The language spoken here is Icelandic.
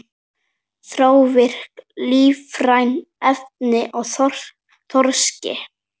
Þrávirk lífræn efni í þorski